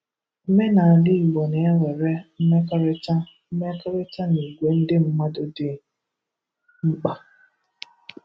Omenala Igbo na-ewèrè mmekọrịta mmekọrịta na igwè ndị mmadụ dị mkpa.